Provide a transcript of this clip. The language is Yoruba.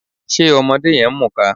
Ṣe ọmọdé yẹn ń mùka?